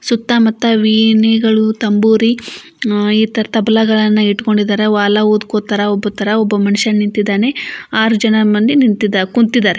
ಸುತ್ತ ಮುತ್ತ ವೀಣೆಗಳು ತಂಬೂರಿ ಆಹ್ ಈ ತರ ತಬಲಗಳನ್ನ ಇಟ್ಕೊಂಡಿದ್ದಾರೆ ವಾಲ ಉದ್ಕೊತರ ಉಬ್ಬೋತರ ಒಬ್ಬ ಮನುಷ್ಯ ನಿಂತಿದಾನೆ ಆರು ಜನ ಮಂದಿ ನಿಂತಿದಾರೆ ಕುಂತಿದಾರೆ.